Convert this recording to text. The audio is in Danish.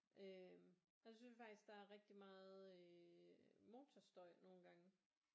Øh og så synes jeg faktisk der er rigtig meget øh motorstøj nogle gange